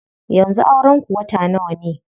Yanzu auren ku wata nawa ne?